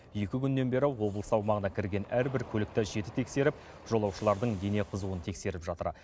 екі күннен бері облыс аумағына кірген әрбір көлікті жіті тексеріп жолаушылардың дене қызуын тексеріп жатыр